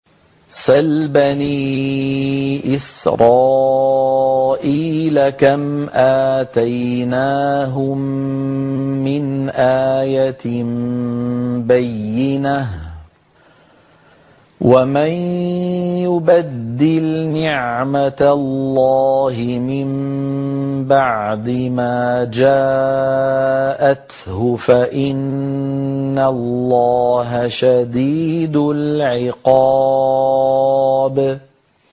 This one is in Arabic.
سَلْ بَنِي إِسْرَائِيلَ كَمْ آتَيْنَاهُم مِّنْ آيَةٍ بَيِّنَةٍ ۗ وَمَن يُبَدِّلْ نِعْمَةَ اللَّهِ مِن بَعْدِ مَا جَاءَتْهُ فَإِنَّ اللَّهَ شَدِيدُ الْعِقَابِ